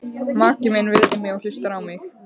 Maki minn virðir mig og hlustar á mig.